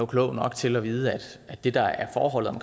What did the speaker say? klog nok til at vide at det der er forholdet